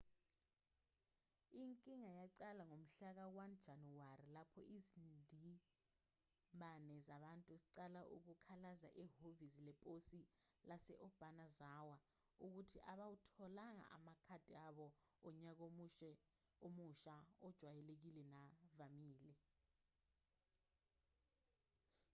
inkinga yaqala ngomhlaka-1 janawari lapho izindimbane zabantu ziqala ukukhalaza ehhovisi leposi lase-obanazawa ukuthi abawatholanga amakhadi abo onyaka omusha ajwayelekile navamile